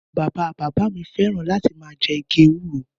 Bàbà bàbàḿi fẹran làti mà jẹ ìgí èwuro